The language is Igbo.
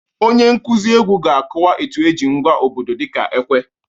Onye nkuzi egwu ga-akọwa etu eji ngwa obodo dịka ekwe